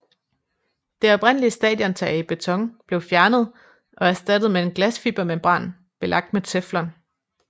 Det oprindelige stadiontag i beton blev fjernet og erstattet med en glasfibermembran belagt med teflon